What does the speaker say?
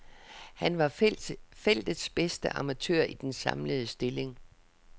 Han var feltets bedste amatør i den samlede stilling.